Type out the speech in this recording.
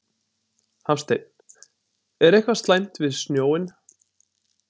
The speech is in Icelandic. Hafsteinn: Er eitthvað slæmt við snjóinn?